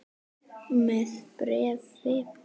Með bréfi.